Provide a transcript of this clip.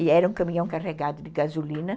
E era um caminhão carregado de gasolina.